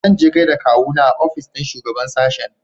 Zanje gaida kawuna a ofis ɗin shugaɓan sashen.